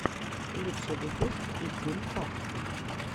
лучший выпуск итин фокс